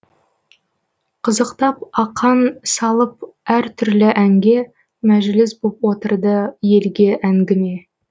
қызықтап ақан салып әр түрлі әнге мәжіліс боп отырды елге әңгіме